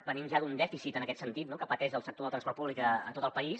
venim ja d’un dèficit en aquest sentit no que pateix el sector del transport públic a tot el país